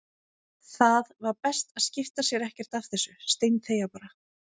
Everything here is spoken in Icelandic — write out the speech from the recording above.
Það var best að skipta sér ekkert af þessu, steinþegja bara.